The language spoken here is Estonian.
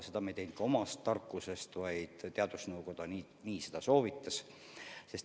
Seda me ei teinud omast tarkusest, vaid teadusnõukoda nii soovitas.